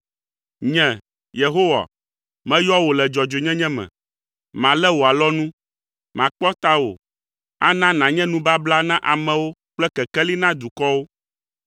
“Nye, Yehowa, meyɔ wò le dzɔdzɔenyenye me. Malé wò alɔnu. Makpɔ tawò, ana nànye nubabla na amewo kple kekeli na dukɔwo,